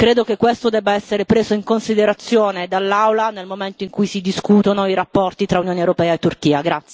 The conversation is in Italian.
Credo che questo debba essere preso in considerazione dall'Aula nel momento in cui si discutono i rapporti tra Unione europea e Turchia.